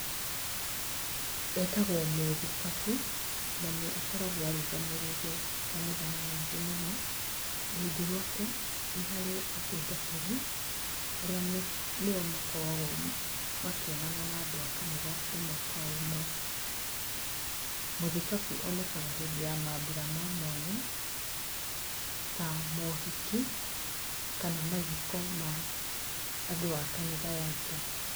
Etagwo mũthikabu na nĩ akoragwo arũgamĩrĩire kanitha nyingĩ mũno rungu rwake nĩ harĩ atungatĩri arĩa nĩo makarogwo makĩonana na andũ a kanitha ĩmwe kwa ĩmwe, mũthikabu onekaga hĩndĩ ya mabura ma mwanya ta mohiki kana mathiko ma andũ a kanitha yake